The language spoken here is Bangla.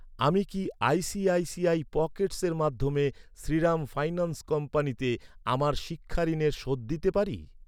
আমি কি আইসিআইসিআই পকেটসের মাধ্যমে শ্রীরাম ফাইন্যান্স কোম্পানিতে আমার শিক্ষা ঋণের শোধ দিতে পারি?